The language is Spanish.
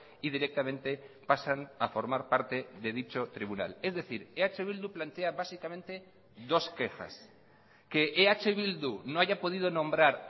y directamente pasan a formar parte de dicho tribunal es decir eh bildu plantea básicamente dos quejas que eh bildu no haya podido nombrar